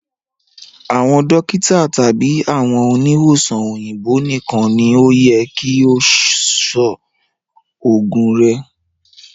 Àwọn dókítà tàbí àwọn oniwosàn òyìnbó nìkan ni o yẹ kí o sọ òògùn rẹ